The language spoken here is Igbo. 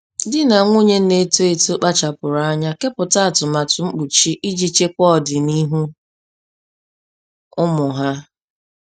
Di na nwunye na-eto eto kpachapụrụ anya kepụta atụmatụ mkpuchi iji chekwaa ọdịniihu ụmụ ha.